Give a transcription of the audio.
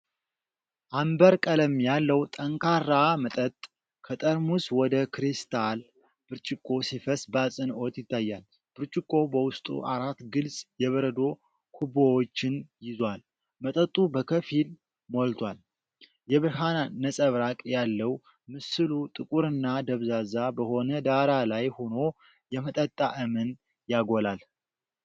አምበር ቀለም ያለው ጠንካራ መጠጥ ከጠርሙስ ወደ ክሪስታል ብርጭቆ ሲፈስ በአጽንዖት ይታያል። ብርጭቆው በውስጡ አራት ግልጽ የበረዶ ኩቦችን ይዟል፤ መጠጡ በከፊል ሞልቷል። የብርሃን ነጸብራቅ ያለው ምስሉ ጥቁርና ደብዛዛ በሆነ ዳራ ላይ ሆኖ የመጠጥ ጣዕምን ያጎላል።